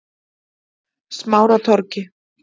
Smáratorgi